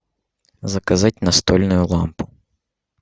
заказать настольную лампу